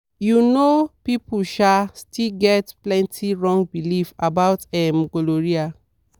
you know people um still get plenty wrong belief about um gonorrhea.